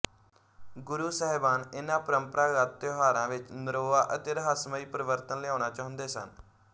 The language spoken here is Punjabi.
ਗੁਰੂ ਸਾਹਿਬਾਨ ਇਨ੍ਹਾਂ ਪ੍ਰੰਪਰਾਗਤ ਤਿਉਹਾਰਾਂ ਵਿੱਚ ਨਰੋਆ ਅਤੇ ਰਹੱਸਮਈ ਪਰਿਵਰਤਨ ਲਿਆਉਣਾ ਚਾਹੁੰਦੇ ਸਨ